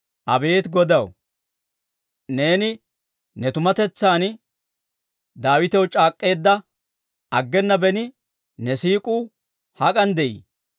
Abeet Godaw, neeni ne tumatetsan Daawitew c'aak'k'eedda, aggena beni ne siik'uu hak'an de'ii?